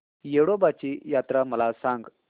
येडोबाची यात्रा मला सांग